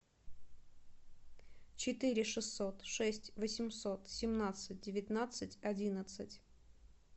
четыре шестьсот шесть восемьсот семнадцать девятнадцать одиннадцать